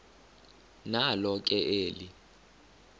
nalo ke eli